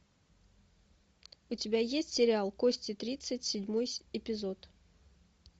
у тебя есть сериал кости тридцать седьмой эпизод